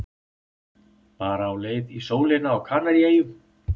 Bara á leið í sólina á Kanaríeyjum.